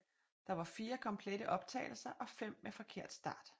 Der var fire komplette optagelser og fem med forkert start